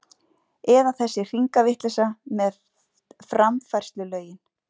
Eða þessi hringavitleysa með framfærslulögin!